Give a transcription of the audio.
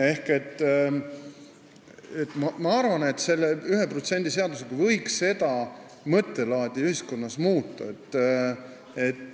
Ehk ma arvan, et selle 1% seadusega võiks ühiskonnas seda mõttelaadi muuta.